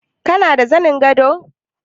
Kana da zanin gado?